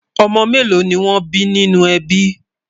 ọ̀mò mélò ní wón bí ní nínú ẹbí?